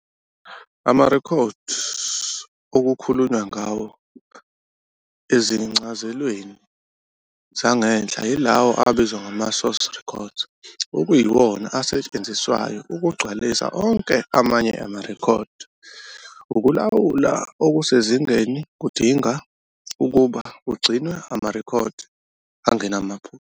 Amarekhodi okukhulunywa ngawo ezincazelweni zangenhla yilawo abizwa ngamasource records, okuyiwona asetshenziswayo ukugcwalisa onke amanye amarekhodi. Ukulawula okusezingeni kudinga ukuba kugcinwe amarekhodi angenamaphutha.